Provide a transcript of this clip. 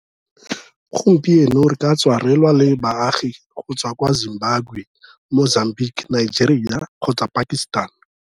Gompieno, re ka tswa re lwa le baagi go tswa kwa Zimbabwe, Mozambique, Nigeria kgotsa Pakistan.